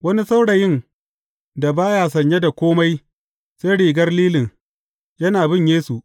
Wani saurayin da ba ya sanye da kome sai rigar lilin, yana bin Yesu.